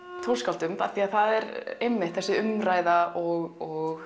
tónskáldum því það er einmitt þessi umræða og